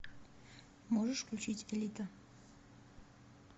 можешь включить элита